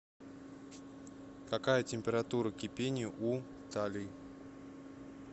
какая температура кипения у таллий